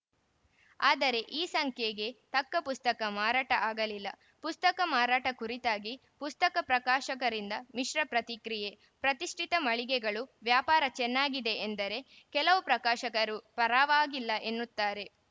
ಆದರೆ ಈ ಸಂಖ್ಯೆಗೆ ತಕ್ಕ ಪುಸ್ತಕ ಮಾರಾಟ ಆಗಲಿಲ್ಲ ಪುಸ್ತಕ ಮಾರಾಟ ಕುರಿತಾಗಿ ಪುಸ್ತಕ ಪ್ರಕಾಶಕರಿಂದ ಮಿಶ್ರ ಪ್ರತಿಕ್ರಿಯೆ ಪ್ರತಿಷ್ಠಿತ ಮಳಿಗೆಗಳು ವ್ಯಾಪಾರ ಚೆನ್ನಾಗಿದೆ ಎಂದರೆ ಕೆಲವು ಪ್ರಕಾಶಕರು ಪರವಾಗಿಲ್ಲ ಎನ್ನುತ್ತಾರೆ